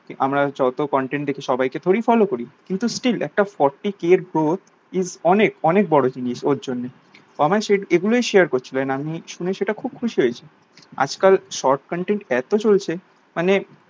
আমরা যত contain দেখি সবাইকে থোরি ই follow করি কিন্তু still একটা forty k is অনেক অনেক বোরো জিনিস ওর জন্য ও আমায় এগুলোই share করছিলো and আমি শুনে সেটা খুব খুশি হয়েছি আজ কাল short contain এত চলছে মানে